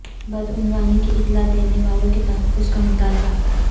بدعنوانی کی اطلاع دینے والوں کے تحفظ کا مطالبہ